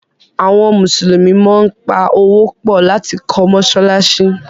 àwọn Musulumi món pá Owó pọ lati kọ́ masalasi.